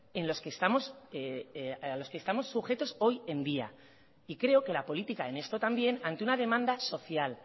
en los que estamos sujetos hoy en día y creo que la política en esto también ante una demanda social